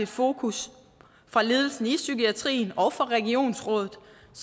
fokus fra ledelsen i psykiatrien og fra regionsrådet